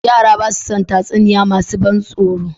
Yara ba su son tatsuniya masu ban tsoro